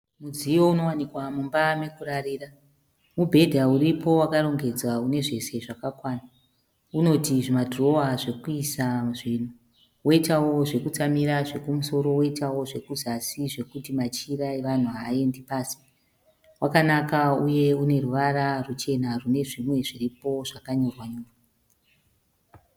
Mudziyo inowanikwa mumba yekurarira . Mubhedha iripo wakarongedzwa unezvese zvakakwana. Unoti zvidhirowa zvekuisa zvinhu, woutawo nezvekutsamira zvekumusoro, woitawo zvekuzasi zvekuti machira evanhu haaende pasi. Wakanaka uneruvara rwuchena nezvimwe zviripo zvakanyorwa.